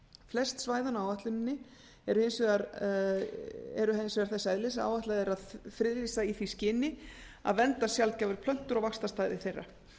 flest svæðanna á áætluninni er hins vegar áætlað að friðlýsa í því skyni að vernda sjaldgæfar plöntur og vaxtarstaði þeirra